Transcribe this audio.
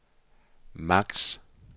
maks